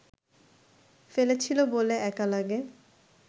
ফেলেছিল বলে একা লাগে